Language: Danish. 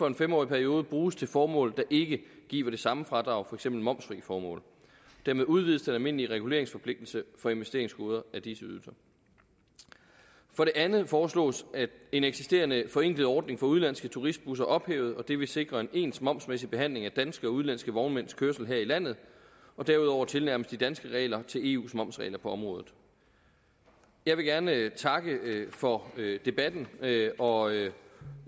en fem årig periode bruges til formål der ikke giver det samme fradrag for eksempel momsfri formål dermed udvides den almindelige reguleringsforpligtelse for investeringsgoder af disse ydelser for det andet foreslås at en eksisterende forenklet ordning for udenlandske turistbusser ophæves og det vil sikre en ens momsmæssig behandling af danske og udenlandske vognmænds kørsel her i landet og derudover tilnærmes de danske regler eus momsregler på området jeg vil gerne takke for debatten og jeg